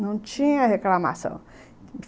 Não tinha reclamação.